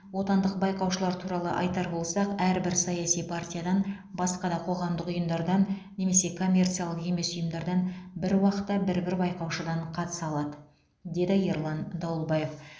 отандық байқаушылар туралы айтар болсақ әрбір саяси партиядан басқа да қоғамдық ұйымдардан немесе коммерциялық емес ұйымдардан бір уақытта бір бір байқаушыдан қатыса алады деді ерлан дауылбаев